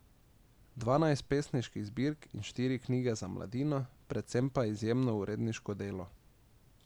Dvanajst pesniških zbirk in štiri knjige za mladino, predvsem pa izjemno uredniško delo.